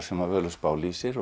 sem Völuspá lýsir